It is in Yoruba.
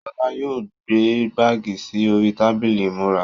Ṣọlá yóò gbé báàgì sì orí tábìlì ìmúra.